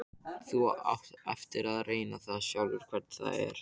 Þú átt eftir að reyna það sjálf hvernig það er.